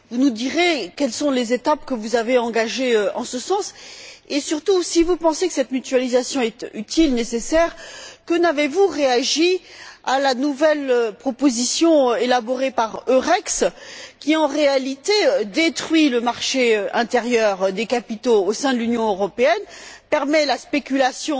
Vous nous direz quelles sont les étapes que vous avez engagées en ce sens et surtout, si vous pensez que cette mutualisation est utile, nécessaire, que n'avez vous réagi à la nouvelle proposition élaborée par Eurex qui, en réalité, détruit le marché intérieur des capitaux au sein de l'Union européenne, permet la spéculation